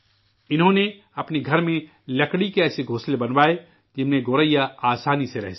انہوں نے اپنے گھر میں لکڑی کے ایسے گھونسلے بنوائے جن میں گوریا آسانی سے رہ سکے